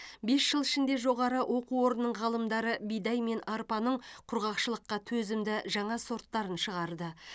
бес жыл ішінде жоғары оқу орнының ғалымдары бидай мен арпаның құрғақшылыққа төзімді жаңа сорттарын шығарды